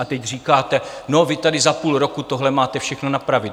A teď říkáte: No, vy tady za půl roku tohle máte všechno napravit.